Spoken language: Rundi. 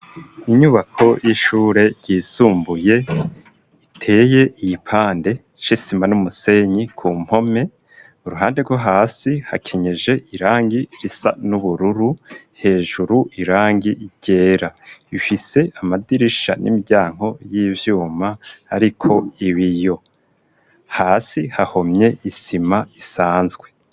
Inyubako y'ishure ryisumbuye iteye iyipande c'isima n'umusenyi ku mpome uruhande rwo hasi hakenyeje irangi risa n'ubururu hejuru irangi ryera ifise amadirisha n'imiryango y'ivyuma ariko ibiyo hasi hahomye isima isanzwe.